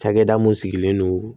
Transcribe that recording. Cakɛda mun sigilen don